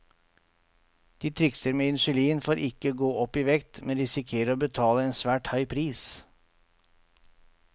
De trikser med insulin for ikke å gå opp i vekt, men risikerer å betale en svært høy pris.